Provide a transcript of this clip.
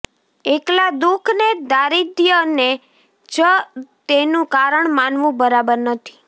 એકલા દુઃખ ને દારિદ્રયને જ તેનું કારણ માનવું બરાબર નથી